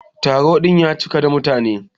Taro din ya cika da mutane.